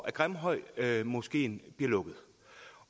at grimhøjmoskeen bliver lukket